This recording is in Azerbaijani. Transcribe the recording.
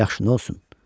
Yaxşı, nə olsun?